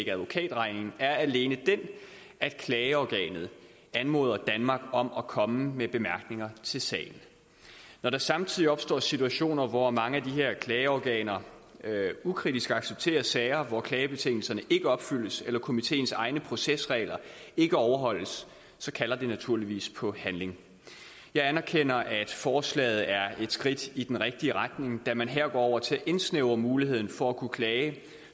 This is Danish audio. advokatregningen er alene den at klageorganet anmoder danmark om at komme med bemærkninger til sagen når der samtidig opstår situationer hvor mange af de her klageorganer ukritisk accepterer sager hvor klagebetingelserne ikke opfyldes eller komiteens egne procesregler ikke overholdes kalder det naturligvis på handling jeg anerkender at forslaget er et skridt i den rigtige retning da man her går over til at indsnævre muligheden for at kunne klage